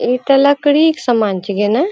ईटा लकड़ी के समान छे गे ना।